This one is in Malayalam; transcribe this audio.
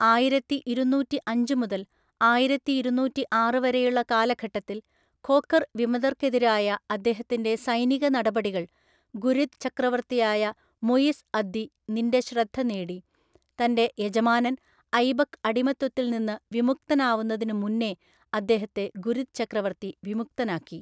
ആയിരത്തിഇരുനൂറ്റിഅഞ്ച് മുതൽ ആയിരത്തിഇരുനൂറ്റിആറ് വരെയുള്ള കാലഘട്ടത്തിൽ ഖോഖർ വിമതർക്കെതിരായ അദ്ദേഹത്തിന്റെ സൈനിക നടപടികൾ ഗുരിദ് ചക്രവർത്തിയായ മുയിസ് അദ്ദി നിന്റെ ശ്രദ്ധ നേടി, തന്റെ യജമാനൻ ഐബക്ക് അടിമത്വത്തിൽ നിന്നു വിമുക്തനാവുന്നത്തിന് മുന്നേ അദ്ദേഹത്തെ ഗുരിദ് ചക്രവർത്തി വിമുക്തനാക്കി.